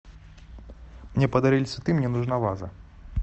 мне подарили цветы мне нужна ваза